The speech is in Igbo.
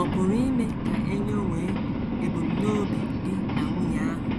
Ọ̀ pụrụ ime ka e nyowe ebumnobi di na nwunye ahụ